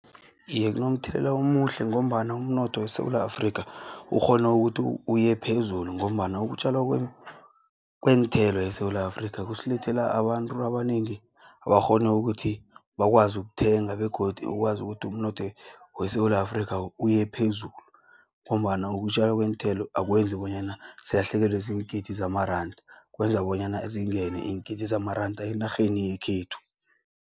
Iye kunomthelela omuhle, ngombana umnotho weSewula Afrika ukghona ukuthi uyephezulu, ngombana ukutjalwa kweenthela eSewula Afrika kusilethela abantu abanengi abakghona ukuthi bakwazi ukuthenga, begodu ikwazi godu umnotho weSewula Afrikha uyephezulu, ngombana ukutjalwa kweenthela akwenzi bonyana silahlekelwe ziingidi zamaranda kwenza bonyana zingeni iingidi zamaranda enarheni yekhethu.